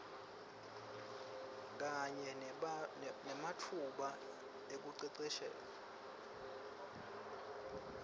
kanye nematfuba ekuceceshwa